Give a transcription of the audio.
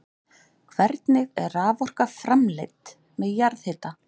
Hvernig er raforka framleidd með jarðhita?